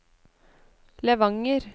Levanger